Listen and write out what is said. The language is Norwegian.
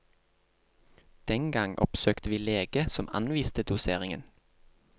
Den gang oppsøkte vi lege som anviste doseringen.